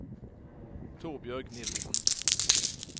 Torbjørg Nielsen